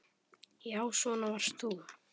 Já, svona varst þú.